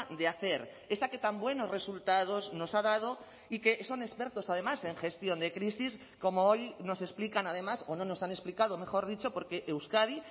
de hacer esa que tan buenos resultados nos ha dado y que son expertos además en gestión de crisis como hoy nos explican además o no nos han explicado mejor dicho porque euskadi